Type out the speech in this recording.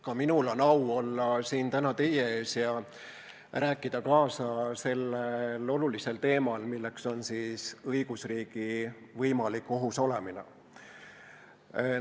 Ka minul on au olla siin täna teie ees ja rääkida kaasa sellel olulisel teemal, mis on õigusriigi võimalik ohus olemine.